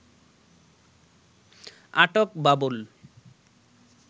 আটক বাবুল